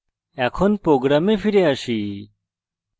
এখন program ফিরে আসি